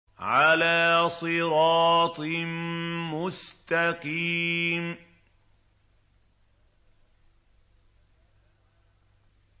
عَلَىٰ صِرَاطٍ مُّسْتَقِيمٍ